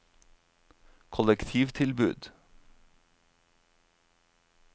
kollektivtilbud